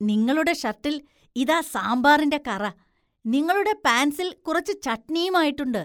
നിങ്ങളുടെ ഷർട്ടിൽ ഇതാ സാമ്പാറിന്‍റെ കറ, നിങ്ങളുടെ പാന്‍റ് സിൽ കുറച്ച് ചട്ണിയും ആയിട്ടുണ്ട് .